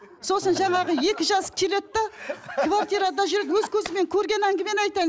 сосын жаңағы екі жас келеді де квартирада жүреді өз көзіммен көрген әңгімені айтайын